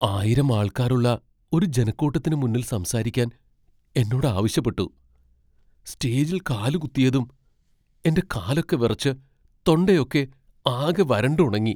ആയിരം ആൾക്കാരുള്ള ഒരു ജനക്കൂട്ടത്തിന് മുന്നിൽ സംസാരിക്കാൻ എന്നോട് ആവശ്യപ്പെട്ടു. സ്റ്റേജിൽ കാലുകുത്തിയതും എന്റെ കാലൊക്കെ വിറച്ച്, തൊണ്ടയൊക്കെ ആകെ വരണ്ടുണങ്ങി .